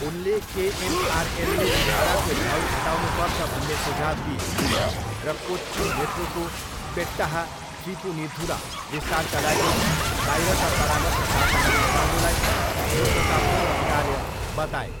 उनले केएमआरएलले भाडाको भाउ घटाउनुपर्छ भन्ने सुझाउ दिए र कोच्ची मेट्रोको पेट्टाह थ्रिपुनिथुरा विस्तारका लागि बाहिरका परामर्शदाताहरू लगाउनुलाई 'मूर्खतापूर्ण कार्य' बताए।